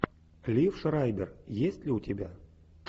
лив шрайбер есть ли у тебя